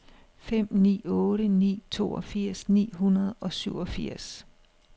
fem ni otte ni toogfirs ni hundrede og syvogfirs